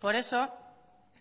por eso